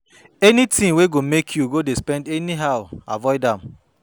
Anytin wey go mek yu go dey spend anyhow, avoid am